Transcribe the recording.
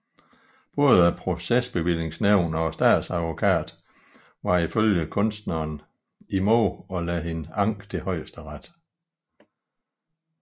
Både procesbevillingsnævnet og statsadvokaten var ifølge kunstneren imod at lade hende anke til Højesteret